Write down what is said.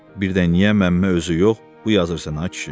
Bir də niyə Məmmənin özü yox, bu yazır sənə a kişi?